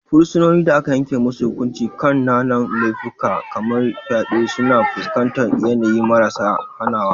Fursunonin da aka yanke musu hukunci kan kananan laifuffuka kamar fyade suna fuskantar yanayi maras hanawa.